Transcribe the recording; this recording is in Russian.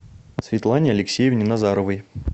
светлане алексеевне назаровой